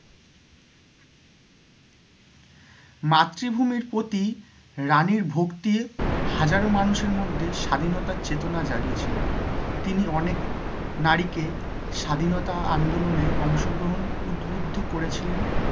মাতৃভূমির প্রতি রানীর ভক্তির হাজারো মানুষের মধ্যে স্বাধীনতার চেতনা জাগিয়েছিল, তিনি অনেক নারীকে স্বাধীনতা আন্দোলনের অংশ গ্রহণ উৎবুদ্ধ করেছেন